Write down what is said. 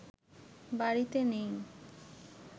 বাড়িতে নেই